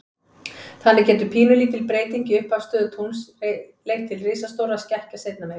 Þannig getur pínulítil breyting í upphafsstöðu tungls leitt til risastórra skekkja seinna meir.